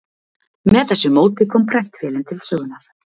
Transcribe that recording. Með þessu móti kom prentvélin til sögunnar.